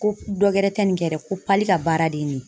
Ko dɔ wɛrɛ tɛ nin kɛ dɛ, ko pali ka baara de ye nin ye.